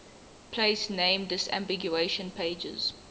place name disambiguation pages